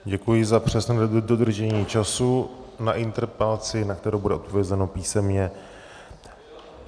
Děkuji za přesné dodržení času na interpelaci, na kterou bude odpovězeno písemně.